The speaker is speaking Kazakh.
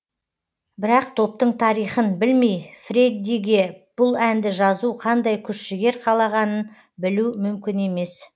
бірақ топтың тарихын білмей фреддиге бұл әнді жазу қандай күш жігер қалағанын білу мүмкін емес